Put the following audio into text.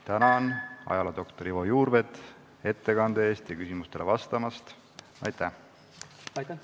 Tänan ajaloodoktor Ivo Juurveed ettekande eest ja küsimustele vastamast!